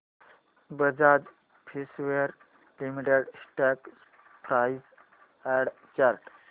Bajaj Finserv limited stock price and chart